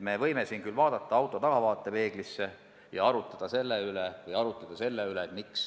Me võime siin küll vaadata auto tahavaatepeeglisse ja arutleda selle üle, miks